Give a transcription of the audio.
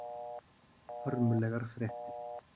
Hörmulegar fréttir.